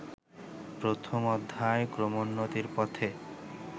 প্রথম অধ্যায় ক্রমোন্নতির পথে